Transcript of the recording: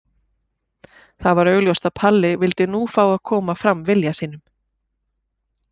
Það var augljóst að Palli vildi nú fá að koma fram vilja sínum.